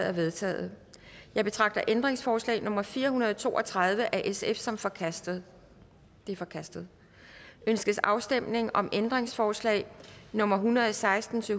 er vedtaget jeg betragter ændringsforslag nummer fire hundrede og to og tredive af sf som forkastet det er forkastet ønskes afstemning om ændringsforslag nummer en hundrede og seksten til